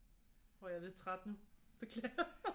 Jeg er lidt træt nu beklager